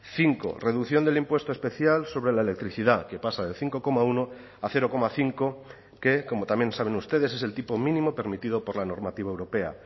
cinco reducción del impuesto especial sobre la electricidad que pasa del cinco coma uno a cero coma cinco que como también saben ustedes es el tipo mínimo permitido por la normativa europea